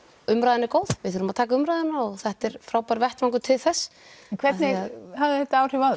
umræðan er góð við þurfum að taka umræðuna og þetta er frábær vettvangur til þess hvernig hafði þetta áhrif á